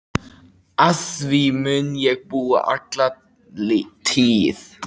Að því mun ég búa alla tíð.